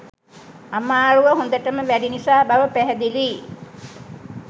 අමාරුව හොඳටම වැඩි නිසා බව පැහැදිලියි